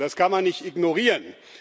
Das kann man nicht ignorieren.